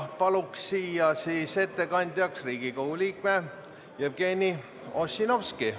Palun ettekandjaks Riigikogu liikme Jevgeni Ossinovski.